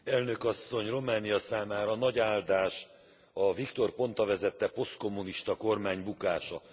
Elnök Asszony, Románia számára nagy áldás a Victor Ponta vezette posztkommunista kormány bukása.